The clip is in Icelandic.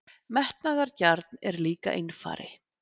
Metnaðargjarn, en líka einfari.